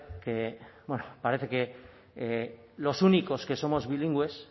que bueno parece que los únicos que somos bilingües